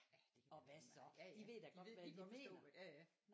Ja ja det kan være lige meget ja ja de ved de kan godt forstå ja ja